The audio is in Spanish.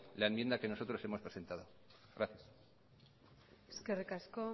la enmienda que nosotros hemos presentado gracias eskerrik asko